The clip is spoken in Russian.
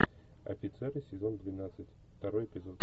офицеры сезон двенадцать второй эпизод